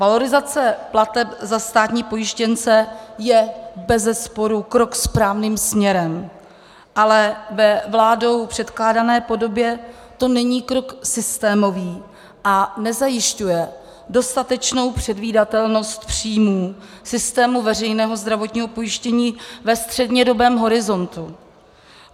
Valorizace plateb za státní pojištěnce je bezesporu krok správným směrem, ale ve vládou předkládané podobě to není krok systémový a nezajišťuje dostatečnou předvídatelnost příjmů v systému veřejného zdravotního pojištění ve střednědobém horizontu.